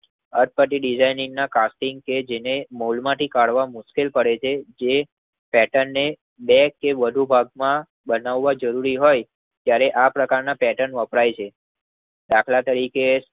અટપટી designing ના casting કે જેને મોલગમાંથી કાઢવા મુશ્કેલ પડે છે. જે પેર્ટન ને બે કે વધુ ભાગ માં બનાવ જરૂરી હોય ત્યારે આ પ્રકારના પેર્ટન વપરાય છે દાખલ તરીકે